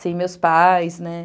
Sem meus pais, né?